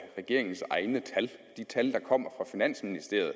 regeringens egne tal de tal der kommer fra finansministeriet